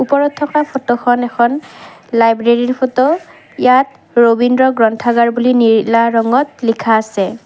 ওপৰত থকা ফটো খন এখন লাইব্ৰেৰী ৰ ফটো ইয়াত ৰবীন্দ্ৰ গ্ৰন্থাগাৰ বুলি নীলা ৰঙত লিখা আছে।